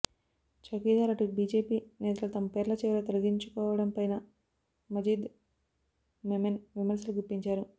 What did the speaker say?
చౌకీ దార్ అంటూ బీజేపీ నేతలు తమ పేర్ల చివర తగిలించుకోవడంపైనా మజీద్ మొమెన్ విమర్శలు గుప్పించారు